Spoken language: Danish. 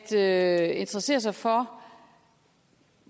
at interessere sig for